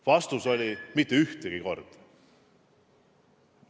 Vastus oli, et mitte ühtegi korda.